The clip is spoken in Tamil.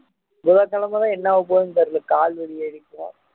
புதன்கிழமை தான் என்ன ஆக போகுதுன்னு தெரியல கால் வலி ஆகிடுச்சினா